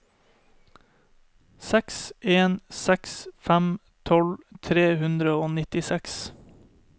seks en seks fem tolv tre hundre og nittiseks